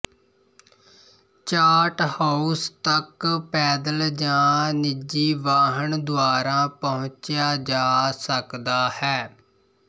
Charthouse ਤੱਕ ਪੈਦਲ ਜਾਂ ਨਿਜੀ ਵਾਹਨ ਦੁਆਰਾ ਪਹੁੰਚਿਆ ਜਾ ਸਕਦਾ ਹੈ